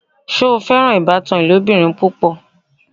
Ṣe o fẹ́ran awọn ìbàtàn ilobìrín púpọ̀?